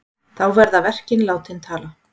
Þá verði verkin látin tala.